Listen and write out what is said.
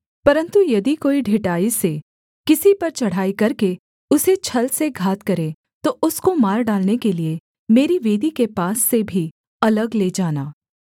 परन्तु यदि कोई ढिठाई से किसी पर चढ़ाई करके उसे छल से घात करे तो उसको मार डालने के लिये मेरी वेदी के पास से भी अलग ले जाना